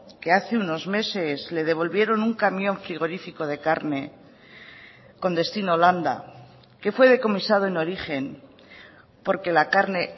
que hace unos meses le devolvieron un camión frigorífico de carne con destino holanda que fue decomisado en origen porque la carne